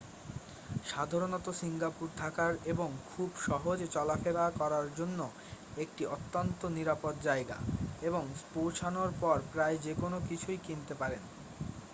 সাধারণত সিঙ্গাপুর থাকার এবং খুব সহজে চলা-ফেরা করার জন্য একটি অত্যন্ত নিরাপদ জায়গা এবং পৌঁছানোর পর প্রায় যেকোন কিছুই কিনতে পারেন